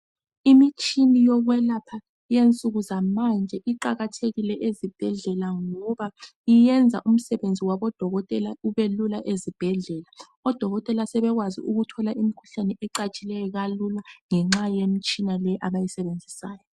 Imitshini yokwelapha, eyensuku zamanje, iqakathekile ezibhedlela, ngoba yenza umsebenzi wabodokotela ubelula ezibhedlela Amadokotela aselakho ukuzuza imikhuhlane ecatshileyo, kslula, ngenxa yemitshina le abayisebenzisayo